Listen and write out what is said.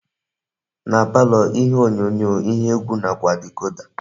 Na palọ ihe onyonyo, ihe egwu nakwa dicoda.